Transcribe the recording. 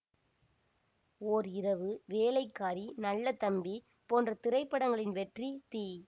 ஓர் இரவு வேலைக்காரி நல்ல தம்பி போன்ற திரைப்படங்களின் வெற்றி தி